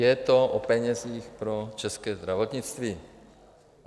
Je to o penězích pro české zdravotnictví.